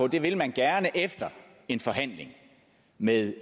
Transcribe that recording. det vil man gerne efter en forhandling med